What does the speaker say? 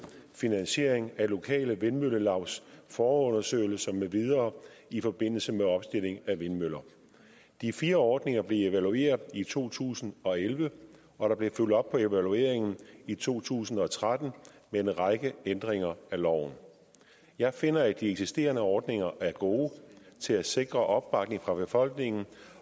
finansiering af lokale vindmøllelavs forundersøgelser med videre i forbindelse med opstilling af vindmøller de fire ordninger blev evalueret i to tusind og elleve og der blev fulgt op på evalueringen i to tusind og tretten med en række ændringer af loven jeg finder at de eksisterende ordninger er gode til at sikre opbakning fra befolkningen